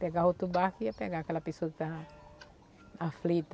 Pegar outro barco ia pegar aquela pessoa que estava aflita.